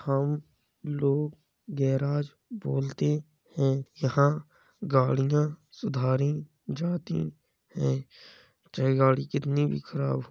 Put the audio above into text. हम लोग गैराज बोलते हैं। यहाँ गाडियाँ सुधारी जाती हैं। चाहे गाड़ी कितनी भी खराब हो।